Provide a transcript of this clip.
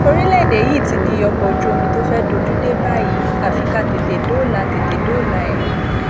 orílẹèdè yìí ti di ọkọ ojú omi tó fẹẹ dojú dé báyìí àfi ká tètè dóòlà tètè dóòlà ẹ